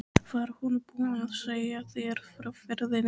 Var hún búin að segja þér frá ferðinni?